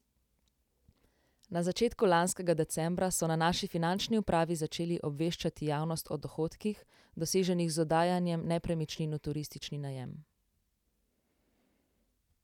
Na začetku lanskega decembra so na naši finančni upravi začeli obveščati javnost o dohodkih, doseženih z oddajanjem nepremičnin v turistični najem.